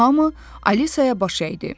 Hamı Alisaya baş əydi.